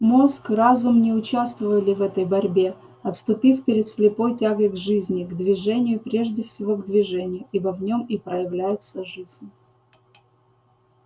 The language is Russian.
мозг разум не участвовали в этой борьбе отступив перед слепой тягой к жизни к движению прежде всего к движению ибо в нем и проявляется жизнь